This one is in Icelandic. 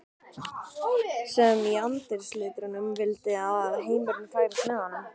sem í andarslitrunum vildi að heimurinn færist með honum.